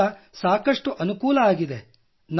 ಇದರಿಂದ ಸಾಕಷ್ಟು ಅನುಕೂಲವಾಗಿದೆ